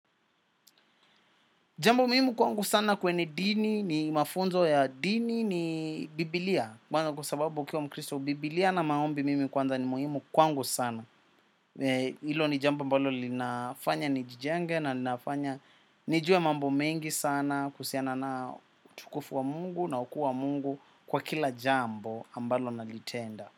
Jambo muhimu kwangu sana kweni dini, ni mafunzo ya dini, ni biblia. Kwa sababu ukiwa mkristo, bibilia na maombi mimi kwanza ni muhimu kwangu sana. Ilo ni jambo ambalo linafanya nijijenge na nijue mambo mengi sana kuhusiana na utukufu wa mungu na ukuu wa mungu kwa kila jambo ambalo nalitenda.